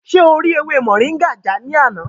Ṣé o rí ewé Moringa já lánàá?